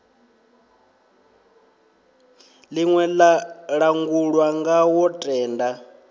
ḽine ḽa langulwa ngawo tenda